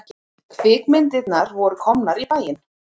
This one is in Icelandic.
Kvikmyndirnar voru komnar í bæinn.